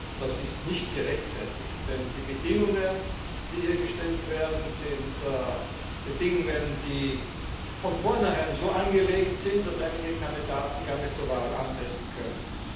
Ich glaube, das ist nicht gerechtfertigt, denn die Bedingungen, die hier gestellt werden, sind Bedingungen, die von vornherein so angelegt sind, dass einige Kandidaten gar nicht zur Wahl antreten können.